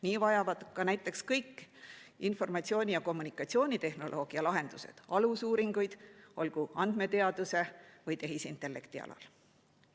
Nii vajavad ka näiteks kõik informatsiooni‑ ja kommunikatsioonitehnoloogia lahendused alusuuringuid, olgu andmeteaduse või tehisintellekti alal.